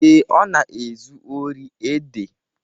Ee, Ọ na-ezu ori ede.